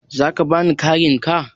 za ka bani karen ka?